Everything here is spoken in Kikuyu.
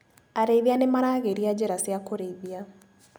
Arĩithia nĩmaragĩria njĩra cia kũrĩithia.